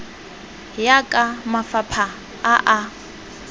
ya ka mafapha a a